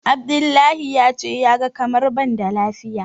Abdullahi ya ce ya ga kamar ban da lafiya.